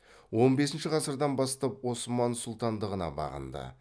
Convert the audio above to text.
он бесінші ғасырдан бастап осман сұлтандығына бағынды